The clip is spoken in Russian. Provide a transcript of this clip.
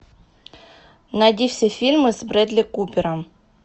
найди все фильмы с брэдли купером